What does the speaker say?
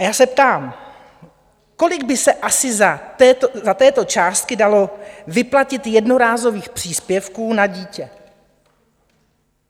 A já se ptám, kolik by se asi za tuto částku dalo vyplatit jednorázových příspěvků na dítě?